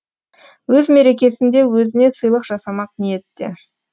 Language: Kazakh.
өз мерекесінде өзіне сыйлық жасамақ ниетте